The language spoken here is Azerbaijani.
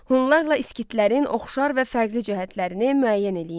Hunlarla iskitlərin oxşar və fərqli cəhətlərini müəyyən eləyin.